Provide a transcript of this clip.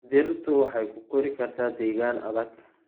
Dhirtu waxay ku kori kartaa deegaan adag.